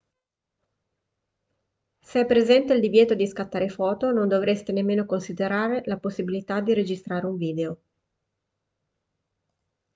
se è presente il divieto di scattare foto non dovreste nemmeno considerare la possibilità di registrare un video